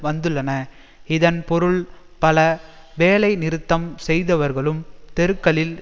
வந்துள்ளன இதன் பொருள் பல வேலைநிறுத்தம் செய்தவர்களும் தெருக்களில்